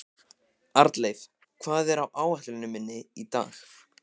Arnleif, hvað er á áætluninni minni í dag?